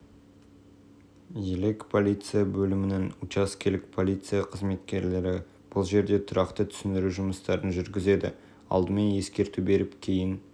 елек полиция бөлімінің учаскелік полиция қызметкерлері бұл жерде тұрақты түсіндіру жұмыстарын жүргізеді алдымен ескерту беріп кейін